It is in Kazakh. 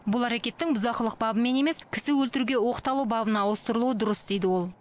бұл әрекеттің бұзақылық бабымен емес кісі өлтіруге оқталу бабына ауыстырылуы дұрыс дейді ол